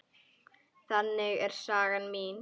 Þannig er saga mín.